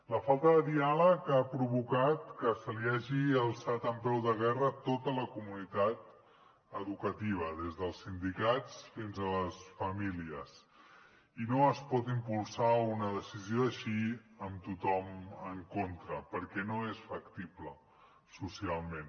la falta de diàleg ha provocat que se li hagi alçat en peu de guerra tota la comunitat educativa des dels sindicats fins a les famílies i no es pot impulsar una decisió així amb tothom en contra perquè no és factible socialment